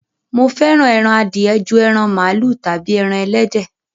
Mo fẹ́ran ẹran àdìẹ̀ jù ẹran malu tábí ẹran ẹlẹdẹ.